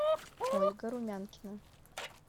ольга румянкина